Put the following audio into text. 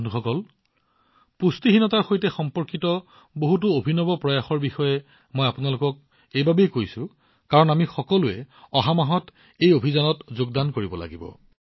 বন্ধুসকল পুষ্টিহীনতাৰ সৈতে সম্পৰ্কিত বহুতো অভিনৱ পৰীক্ষাৰ বিষয়ে মই আপোনালোকক ইয়াৰ বিষয়ে কোৱাৰ কাৰণ হল আমি সকলোৱে অহা মাহত এই অভিযানত যোগদান কৰিব লাগিব